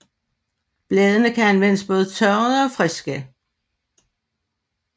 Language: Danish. Bladene kan anvendes både tørrede og friske